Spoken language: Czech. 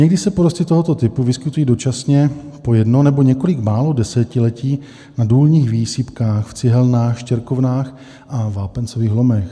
Někdy se porosty tohoto typu vyskytují dočasně po jedno nebo několik málo desetiletí na důlních výsypkách, v cihelnách, štěrkovnách a vápencových lomech.